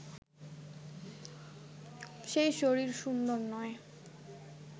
সেই শরীর সুন্দর নয়